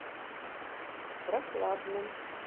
прохладном